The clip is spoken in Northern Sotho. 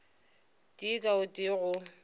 tee ka o tee go